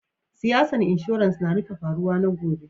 Siyasan insurance na rufe faruwa na gobe.